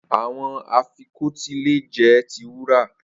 Awọn afikọti le jẹ ti wura